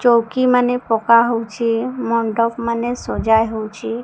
ଚୌକି ମାନେ ପକାହଉଛି ମଣ୍ଡପ ମାନେ ସଜାଇ ହଉଛି।